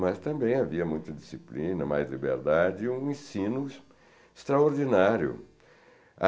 Mas também havia muita disciplina, mais liberdade e um ensino extraordinário.